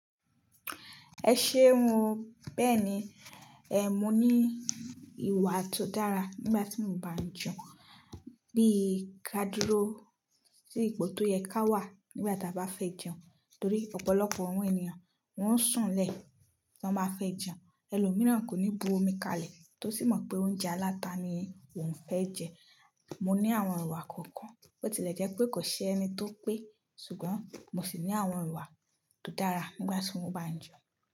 Ẹ ṣé mu. Bẹ́ẹ̀ni, ẹ́ mo ní ìwà tó dára nígbà tí mo bá jẹun, bí i ká dúró sí ipò tó yẹ ká wà nígbà tí a bá fẹ́ jẹun. Torí ọ̀pọ̀lọpọ̀ àwọn ènìyàn wọn ń sùn lẹ́ tán bá fẹ́ jẹun. Ẹlòmíràn kò ní bu omi kalẹ̀ tó sì mọ̀ pé oúnjẹ aláta ni òun fẹ́ jẹ. Mò ní àwọn ìwà kọ̀ọ̀kan bó ti lẹ̀ jẹ́ pé kò ṣe ẹni tó pé. Ṣùgbọ́n mo sì ní àwọn ìwà tó dára nígbà tí mo bá jẹun.